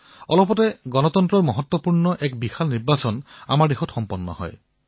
অলপতে গণতন্ত্ৰৰ এক মহাপৰ্ব বহু ডাঙৰ নিৰ্বাচন অভিযান আমাৰ দেশত সম্পন্ন হল